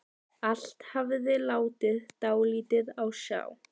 Allt hafði látið dálítið á sjá.